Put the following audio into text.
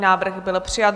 Návrh byl přijat.